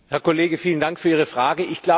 Herr Kollege, vielen Dank für Ihre Frage.